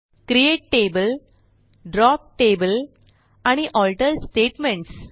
create table drop table आणि alter statements